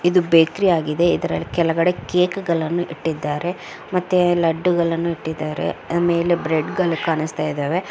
ಇದು ಬೇಕರಿ ಆಗಿದೆ ಕೆಳಗಡೆ ಕೇಕ್ಗಳನ್ನು ಇಟ್ಟಿದ್ದಾರೆ ಮತ್ತೆ ಲಡ್ಡುಗಳನ್ನು ಇಟ್ಟಿದ್ದಾರೆ ಅದರ ಮೇಲೆ ಬ್ರೆಡ್ಗಳು ಕಾಣಿಸ್ತಾ ಇದಾವೆ --